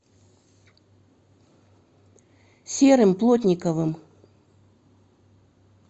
серым плотниковым